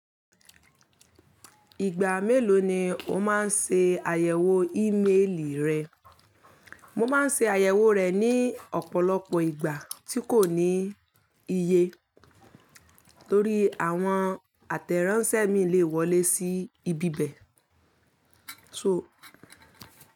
Ìgbà mélòó ni o máa ń ṣe àyẹ̀wò ímeélì rẹ? Mo ma ń ṣe àyẹ̀wò rẹ̀ ní ọ̀pọ̀lọpọ̀ ìgbà tí kò ní iye torí àwọn àtẹ̀ránsẹ́ mii lè wọlé sí ibi bẹ̀.